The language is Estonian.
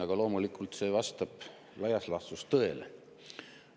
Aga loomulikult, see vastab laias laastus tõele.